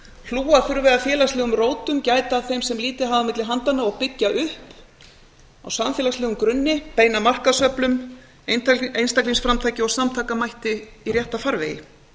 hlúa þurfi að félagslegum rótum gæta að þeim sem lítið hafa á milli handanna og byggja upp á samfélagslegum grunni beina markaðsöflum einstaklingsframtaki og samtakamætti í rétta farvegi